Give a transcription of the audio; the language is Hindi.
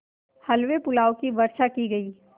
हलवेपुलाव की वर्षासी की गयी